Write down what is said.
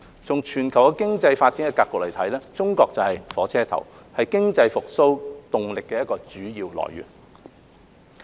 從全球經濟發展的格局來看，中國就是"火車頭"，是經濟復蘇動力的主要來源。